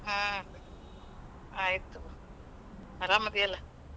ಹ್ಮ್ ಆಯ್ತ್,. ಆರಾಮದಿಯಲ್ಲಾ?